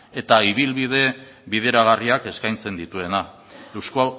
eta ibilbide bideragarriak eskaintzen dituena eusko